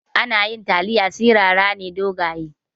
Yanayin taliya sirara ne dogaye.